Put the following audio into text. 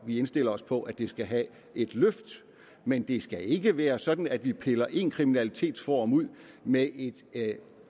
vi indstiller os på at det skal have et løft men det skal ikke være sådan at vi piller en kriminalitetsform ud med et